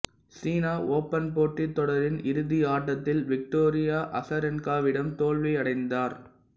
சீனா open போட்டி தொடரின் இறுதி ஆட்டத்தில் விக்டோரியா அசரென்கா விடம் தோல்வியடைந்தார்